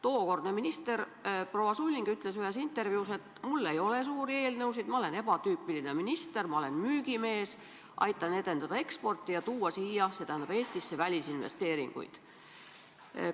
Tookordne minister proua Sulling ütles ühes intervjuus, et tal ei ole suuri eelnõusid, ta on ebatüüpiline minister, ta on müügimees, aitab edendada eksporti ja tuua siia, st Eestisse, välisinvesteeringuid.